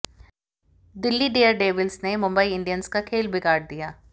Delhi Daredevils ने Mumbai Indians का खेल बिगाड़ दिया